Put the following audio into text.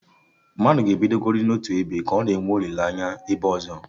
Ana enweta ana tupu atọgbọ ute